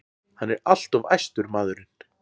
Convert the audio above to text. Hann er alltof æstur, maðurinn.